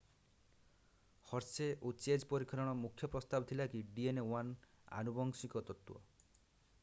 Hershey ଏବଂ Chase ପରୀକ୍ଷଣର ଏକ ମୁଖ୍ୟ ପ୍ରସ୍ତାବ ଥିଲା କି dna 1 ଆନୁବଂଶିକ ତତ୍ତ୍ୱ